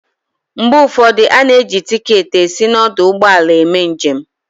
Mgbe ụfọdụ, a na-eji tiketi esi n'ọdụ ụgbọala eme njem